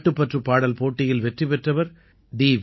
நாட்டுப்பற்றுப் பாடல் போட்டியில் வெற்றி பெற்றவர் டி